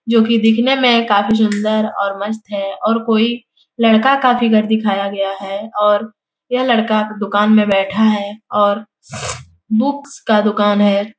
जो कि देखने में काफी सुंदर और मस्त है और कोई लड़का का फिगर दिखाया गया है और यह लड़का दुकान में बैठा है और बुक्स का दुकान है।